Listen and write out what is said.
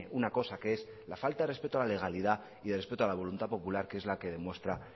una cosa que es la falta de respeto a la legalidad y de respeto a la voluntad popular que es la que demuestra